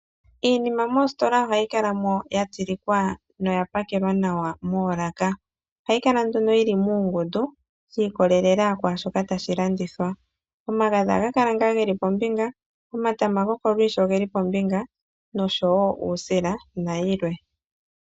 Iinima moositola ohayi kala mo ya tsilikwa noya pakelwa nawa moolaka. Ohayi kala nduno yili muungundu shi ikolelela ku shoka tashi landithwa, omagadhi ohaga kala ngaa geli pombinga, omatama goko lushi ogeli pombinga nosho wo uusila na yilwe.